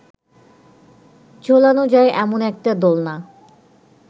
ঝোলানো যায় এমন একটা দোলনা